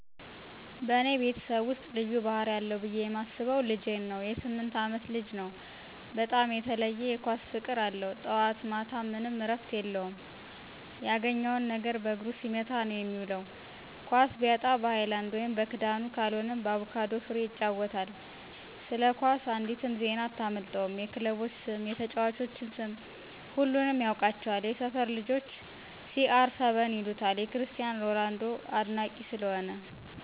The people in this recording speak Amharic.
በእኔ ቤተሰብ ውስጥ ልዩ ባህሪ አለው ብየ ማስበው ልጄ ነው.የ 8አመት ልጅ ነው, በጣም የተለየ የ ኳስ ፍቅር አለው. ጠዋት ማታም ምንም እረፍት የለውም ያገኘውን ነገር በእግሩ ሲመታ ነዉ የሚዉል. ኳስ ቢያጣ በ ሀይላንድ (በክዳኑ)ካልሆነም በአቩካዶ ፍሬ ይጫወታል። ስለ ኳስ አንዲትም ዜና አታመልጠውም .የ ክለቦች ስም፣ የተጨዋቾች ስም ሁሉንም ያውቃቸዋል። የ ሰፈር ልጆች CR7 ይሉታል የ ክርስቲያን ሮላንዶ አድናቂ ስለሆነ።